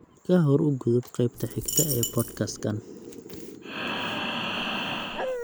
ka hor u gudub qaybta xigta ee podcast-kan